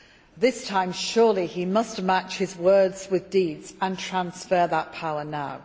Surely this time he must match his words with deeds and transfer that power now.